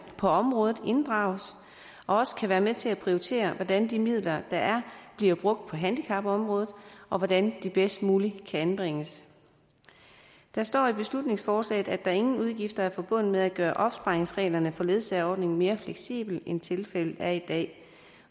på området inddrages og også kan være med til at prioritere hvordan de midler der er bliver brugt på handicapområdet og hvordan de bedst muligt kan anvendes der står i beslutningsforslaget at der ingen udgifter er forbundet med at gøre opsparingsreglerne ledsageordningen mere fleksible end tilfældet er i dag